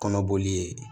Kɔnɔboli ye